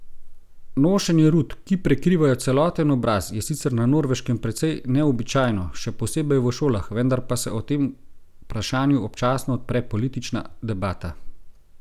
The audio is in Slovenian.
Nošenje rut, ki prekrivajo celoten obraz, je sicer na Norveškem precej neobičajno, še posebej v šolah, vendar pa se o tem vprašanju občasno odpre politična debata.